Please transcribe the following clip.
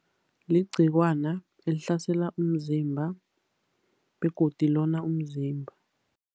Ligciwana elihlasela umzimba, begodu lona umzimba.